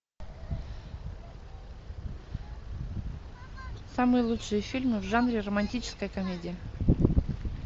самые лучшие фильмы в жанре романтическая комедия